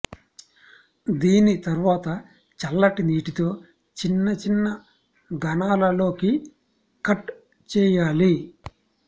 దీని తరువాత చల్లటి నీటితో చిన్న చిన్న ఘనాలలోకి కట్ చేయాలి